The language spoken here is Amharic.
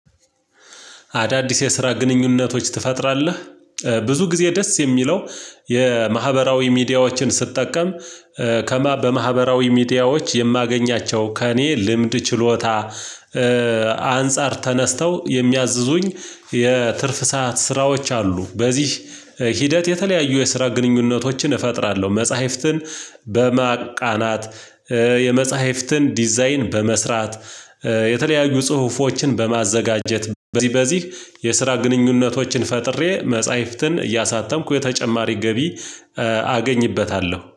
አዳዲስ የስራ ግንኙነቶች ትፈጥራለህ ብዙ ጊዜ ደስ የሚለው የማህበራዊ ሚዲያዎችን ስትጠቀም። ከማ በማህበራዊ ሚዲያዎች የማገኛቸው ከእኔ ልምድ ችሎታ። አንፃር ተነስተው የሚያዝዙኝ የትርፍ ሰዓት ስራዎች አሉ። በዚህ ሂደት የተለያዩ የስራ ግንኙነቶችን እፈጥራለሁ። መጽሐፍትን በማቃናት የመጽሐፍትን ዲዛይን በመስራት። የተለያዩ ጽሁፎችን በማዘጋጀት በዚህ በዚህ የስራ ግንኙነቶችን ፈጥሬ መጽሐፍትን እያሳተምኩ የተጨማሪ ገቢ አገኝበታለሁ